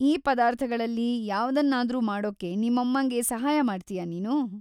ಈ ಪದಾರ್ಥಗಳಲ್ಲಿ ಯಾವ್ದನ್ನಾದ್ರೂ ಮಾಡೋಕೆ ನಿಮ್ಮಮ್ಮಂಗೆ ಸಹಾಯ ಮಾಡ್ತೀಯಾ ನೀನು?